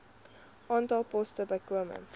aantal poste bykomend